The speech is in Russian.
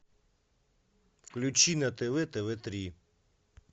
включи на тв тв три